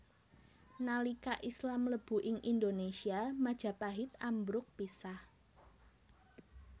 Nalika Islam mlebu ing Indonésia Majapahit ambruk pisah